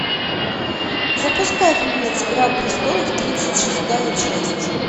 запускай фильмец игра престолов тридцать шестая часть